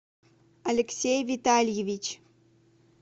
алексей витальевич